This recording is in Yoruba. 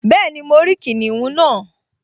Bẹ́ẹ̀ni, mo rí kìnìún náà